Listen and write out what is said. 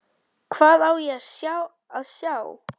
Hvað á ég að sjá?